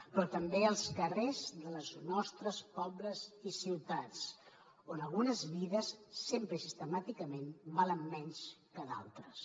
però també als carrers dels nostres pobles i ciutats on algunes vides sempre i sistemàticament valen menys que d’altres